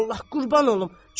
Allah qurban olum.